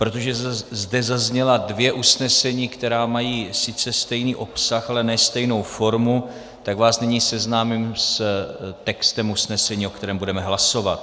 Protože zde zazněla dvě usnesení, která mají sice stejný obsah, ale ne stejnou formu, tak vás nyní seznámím s textem usnesení, o kterém budeme hlasovat: